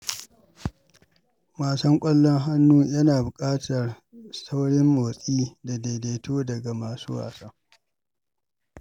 Wasan ƙwallon hannu yana buƙatar saurin motsi da daidaito daga masu wasa.